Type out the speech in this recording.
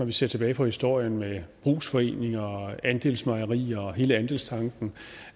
vi ser tilbage på historien med brugsforeninger og andelsmejerier og hele andelstanken